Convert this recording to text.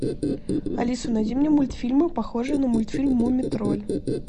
алиса найди мне мультфильмы похожие на мультфильм мумий тролль